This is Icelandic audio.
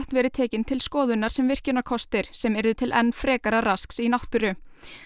verið tekin til skoðunar sem virkjunarkostir sem yrðu til enn frekara rasks í náttúru